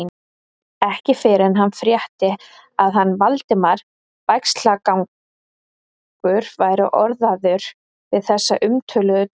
Ekki fyrr en hann frétti, að hann, Valdimar Bægslagangur, væri orðaður við þessa umtöluðu deild.